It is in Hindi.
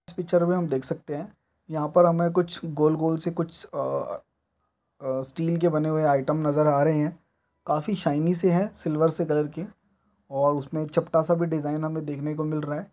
इस पिक्चर में हम देख सकते है यहाँ पर हमें कुछ गोल -गोल से कुछ अ स्टील के बने हुए आइटम नज़र आ रहे है काफी शाइनी से है सिल्वर से कलर के ओर उसमें चपटा सा भी डिजाइन हमें देखने को मिल रहा हैं।